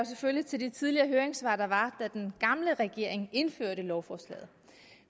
selvfølgelig til de tidligere høringssvar der var da den gamle regering indførte lovforslaget